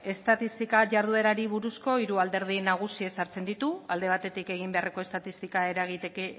estatistika jarduerari buruzko hiru alderdi nagusi ezartzen ditu alde batetik egin beharreko estatistika